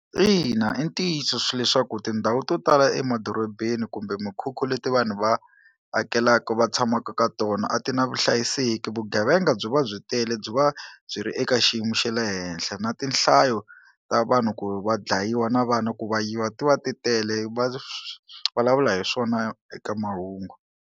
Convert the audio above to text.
Ina, i ntiyiso swi leswaku tindhawu to tala emadorobeni kumbe mikhukhu leti vanhu va akelaka va tshamaka ka tona a ti na vuhlayiseki vugevenga byi va byi tele byo va byi ri eka xiyimo xa le henhla na tinhlayo ta vanhu ku va dlayiwa na vana ku va yiva ti va titele, va vulavula hi swona eka mahungu.